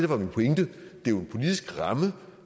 var min pointe det er jo en politisk ramme